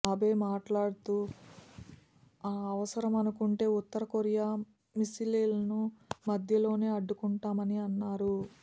అబే మాట్లా డుతూ అవసరమనుకుంటే ఉత్తరకొరియా మిస్సిలీలను మధ్యలోనే అడ్డుకుంటామని అన్నారు